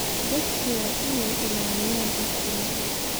Dadku waa inay ilaaliyaan xogtooda.